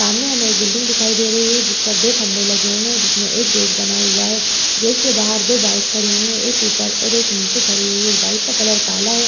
सामने हमें एक बिल्डिंग दिखाई दे रही है जिस पर दो खंबे लगे हुए हैं जिसमें एक गेट बना हुआ है। गेट के बाहर दो बाइक खड़ी हुई हैं। एक ऊपर और एक नीचे खड़ी हुई है। बाइक का कलर काला है।